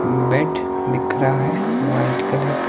bed दिख रहा है वाइट कलर --